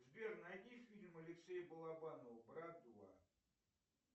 сбер найди фильм алексея балабанова брат два